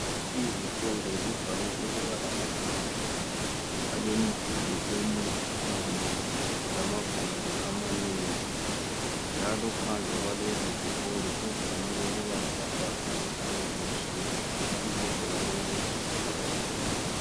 Izikolo zivame ukuba lamabhilidi alemiduli emikhulu lamagumbi amanengi njalo phandle kwalezi zikolo kuvame ukuba lamabhakane ayabe elotshiwe ibizo laleso sikolo.